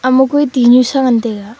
ama kui tihnu sa ngantaiga.